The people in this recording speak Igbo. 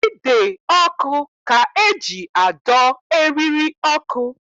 Ide ọkụ ka eji adọ eriri ọkụ